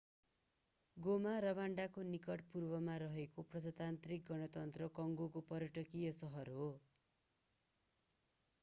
गोमा रवान्डाको निकट पूर्वमा रहेको प्रजातान्त्रिक गणतन्त्र कङ्गोको पर्यटकीय सहर हो